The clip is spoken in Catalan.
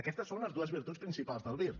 aquestes són les dues virtuts principals del vir